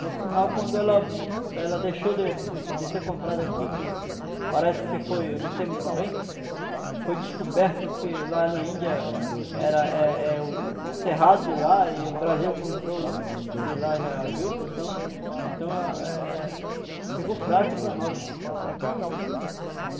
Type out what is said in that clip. Por sinal, quando ela ela deixou de de ser comprada aqui, que parece que foi, eu não sei muito bem, foi descoberto que lá na Índia era é é é o cerrado de lá e o Brasil comprou de lá a juta, então então eh eh ficou fraco para nós, para cá.